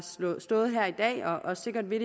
stået her i dag og sikkert vil